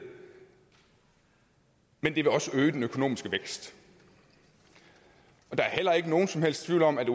men det vil også øge den økonomiske vækst der er heller ikke nogen som helst tvivl om at